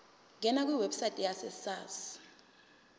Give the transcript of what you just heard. ngena kwiwebsite yesars